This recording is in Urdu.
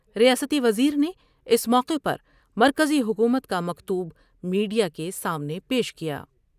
ریاستی وزیر نے اس موقع پر مرکزی حکومت کا مکتوب میڈیا کے سامنے پیش کیا ۔